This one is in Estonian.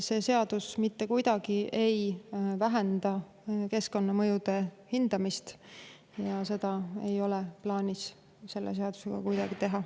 See seadus mitte kuidagi ei vähenda keskkonnamõjude hindamist ja seda ei ole plaanis selle seadusega kuidagi teha.